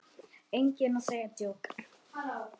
Enginn að segja djók?